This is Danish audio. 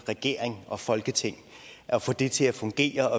regering og folketing og at få det til at fungere